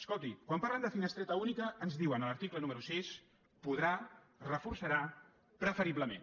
escolti quan parlen de finestreta única ens diuen a l’article número sis podrà reforçarà preferiblement